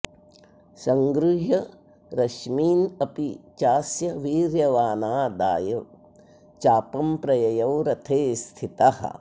संगृह्य रश्मीनपि चास्य वीर्यवानादाय चापं प्रययौ रथे स्थितः